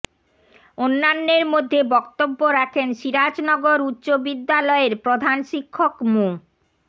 অন্যান্যের মধ্যে বক্তব্য রাখেন সিরাজনগর উচ্চ বিদ্যালয়ের প্রধান শিক্ষক মো